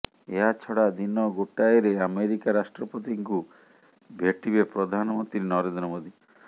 ଏହାଛଡା ଦିନ ଗୋଟାଏରେ ଆମେରିକା ରାଷ୍ଟ୍ରପତିଙ୍କୁ ଭେଟିବେ ପ୍ରଧାନମନ୍ତ୍ରୀ ନରେନ୍ଦ୍ର ମୋଦି